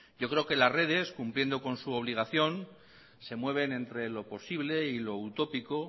yo creo que las redes cumpliendo con su obligación se mueven entre lo posible y lo utópico